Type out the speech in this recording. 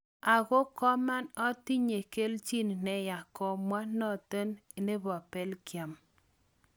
ako koman atinyen keljin neya" komwa notin nebo Belgium.